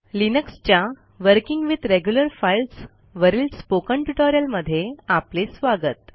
लिनक्सच्या working with regular files वरील spoken ट्युटोरियलमध्ये आपले स्वागत